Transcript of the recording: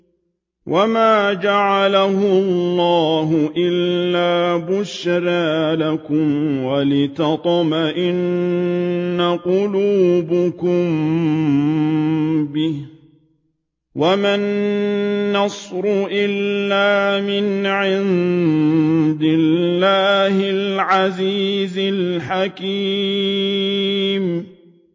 وَمَا جَعَلَهُ اللَّهُ إِلَّا بُشْرَىٰ لَكُمْ وَلِتَطْمَئِنَّ قُلُوبُكُم بِهِ ۗ وَمَا النَّصْرُ إِلَّا مِنْ عِندِ اللَّهِ الْعَزِيزِ الْحَكِيمِ